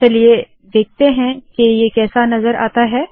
चलिए देखते है ये कैसा नज़र आता है